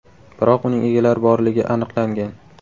Biroq uning egalari borligi aniqlangan.